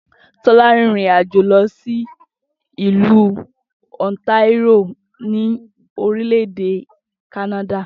Tó̩lá rin ìrìnàjò lo̩ sí ìlú Ontario ní orílè̩-èdè Kánádà